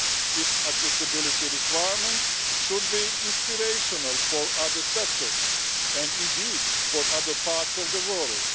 Its accessibility requirements should be inspirational for other sectors and indeed for other parts of the world.